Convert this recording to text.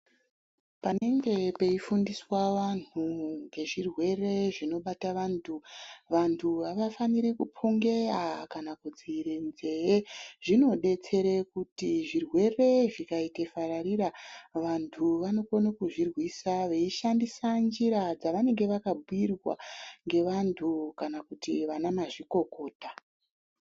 Panenge peiundiswa vanhu ngezvirwere zvinenge zvinobata vantu vantu avafaniri kuphungeya kana kudziire nzee zvinodetsere kuti zvirwere zvikaite fararira vantu vanokone kuzvirwisa veishandisa njira dzavanenge vakabhuirwa ngevantu kana kuti vana mazvikokota.